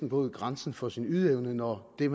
nået grænsen for sin ydeevne når den